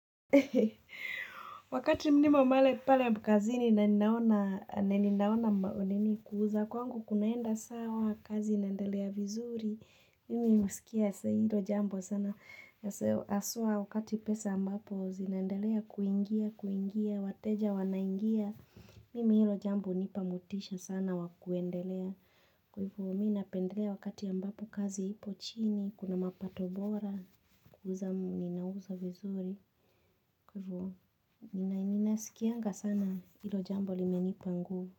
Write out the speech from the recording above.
Ehe. Wakati nimo male pale kazini na ninaona na ninaona kwamba nini kuuza kwangu kunaenda sawa, kazi inaendelea vizuri mimi husikia yasa hilo jambo sana haswa wakati pesa ambapo zinaendelea kuingia kuingia wateja wanaingia mimi hilo jambo hunipa motisha sana wa kuendelea. Kwa hivo mi napendelea wakati ambapo kazi ipo chini, kuna mapato bora kuuza ninauza vizuri, kwa hivyo Nina nina sikianga sana hilo jambo limenipa nguvu.